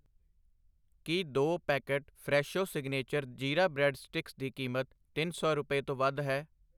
ਕੀ ਦੋ packet Fresho signature jeera bread sticks ਦੀ ਕੀਮਤ ਤਿੰਨ ਸੌ ਰੁਪਏ ਤੋਂ ਵੱਧ ਹੈ?